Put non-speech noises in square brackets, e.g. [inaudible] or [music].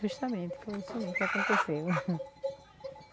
Justamente foi isso mesmo que aconteceu. [laughs]